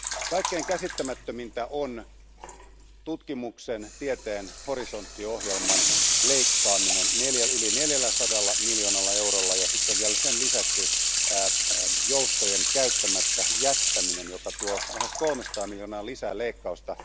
Kaikkein käsittämättömintä on tutkimuksen ja tieteen Horisontti ohjelman leikkaaminen yli 400 miljoonalla eurolla ja sitten vielä sen lisäksi joustojen käyttämättä jättäminen, joka tuo lähes 300 miljoonaa lisää leikkausta.